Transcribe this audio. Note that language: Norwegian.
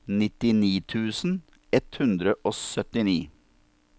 nittini tusen ett hundre og syttini